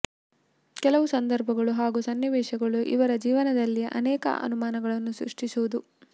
ಕೆಲವು ಸಂದರ್ಭಗಳು ಹಾಗೂ ಸನ್ನಿವೇಶಗಳು ಇವರ ಜೀವನದಲ್ಲಿ ಅನೇಕ ಅನುಮಾನಗಳನ್ನು ಸೃಷ್ಟಿಸುವುದು